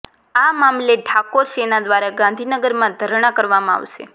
આ મામલે ઠાકોર સેના દ્વારા ગાંધીનગરમાં ધરણા કરવામાં આવશે